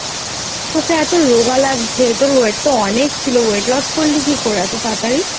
তোকে এত রোগা লাগছে.তোর Weight তো অনেক ছিল Weight loss করলি কি করে? এত তাড়াতাড়ি